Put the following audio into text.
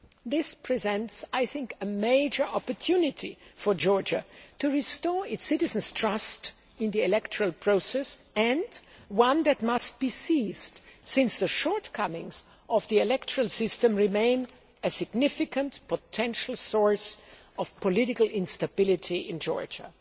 This presents a major opportunity for Georgia to restore its citizens' trust in the electoral process and one that must be seized, since the shortcomings of the electoral system remain a significant potential source of political instability in Georgia.